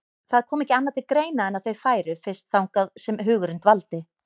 Það kom ekki annað til greina en að þau færu fyrst þangað sem hugurinn dvaldi.